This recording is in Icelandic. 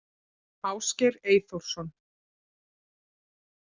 Ásgeir Eyþórsson